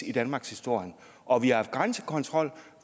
i danmarkshistorien og at vi har haft grænsekontrol